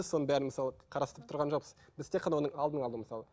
соның бәрін мысалы қарастырып тұрған жоқпыз біз тек қана оның алдын алу мысалы